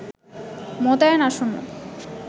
মোতায়েন আসন্ন